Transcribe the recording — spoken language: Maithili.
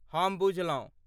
हम बुझलौं।